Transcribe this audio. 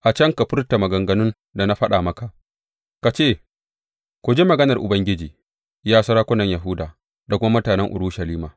A can ka furta maganganun da na faɗa maka, ka ce, Ku ji maganar Ubangiji, ya sarakunan Yahuda da kuma mutanen Urushalima.